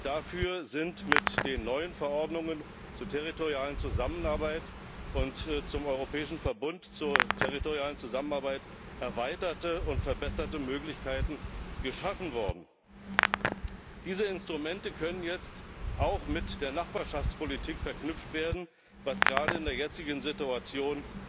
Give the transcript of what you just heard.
Dafür sind mit den neuen Verordnungen zur territorialen Zusammenarbeit und zum europäischen Verbund zur territorialen Zusammenarbeit erweiterte und verbesserte Möglichkeiten geschaffen worden. Diese Instrumente können jetzt auch mit der Nachbarschaftspolitik verknüpft werden, was gerade in der jetzigen Situation